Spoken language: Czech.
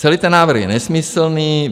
Celý ten návrh je nesmyslný.